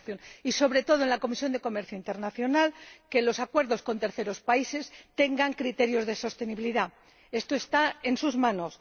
Y, sobre todo, en la Comisión de Comercio Internacional queremos que los acuerdos con terceros países tengan criterios de sostenibilidad. Esto está en sus manos.